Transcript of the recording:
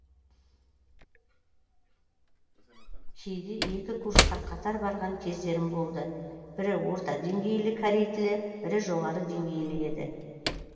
кейде екі курсқа қатар барған кездерім болды бірі орта деңгейлі корей тілі бірі жоғары деңгейлі еді